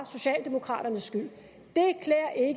socialdemokraternes skyld